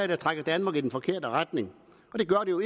der trækker danmark i den forkerte retning og det gør det jo